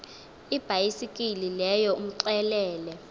ibhayisekile leyo umxelele